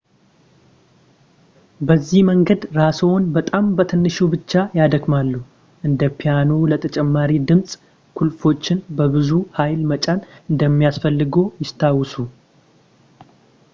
በዚህ መንገድ ራስዎን በጣም በትንሹ ብቻ ያደክማሉ እንደ ፒያኖ ለተጨማሪ ድምፅ ቁልፎቹን በብዙ ኃይል መጫን እንደማያስፈልግዎ ያስታውሱ